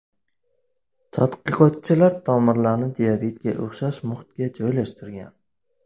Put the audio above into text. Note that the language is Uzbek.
Tadqiqotchilar tomirlarni diabetga o‘xshash muhitga joylashtirgan.